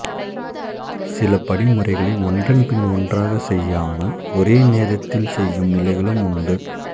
சில படிமுறைகளை ஒன்றன்பின் ஒன்றாகச் செய்யாமல் ஒரே நேரத்தில் செய்யும் நிலைகளும் உண்டு